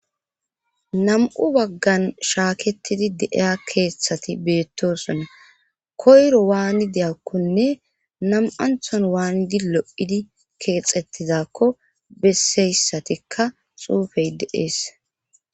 Nam'u baggan shaaketidi deeya keeththati beettosona koyro waani deyakkonne nam7anthon waanidi lo7idi keexettizakko besseyssatikka xuufey deees